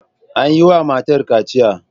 An yi wa matar kaciya.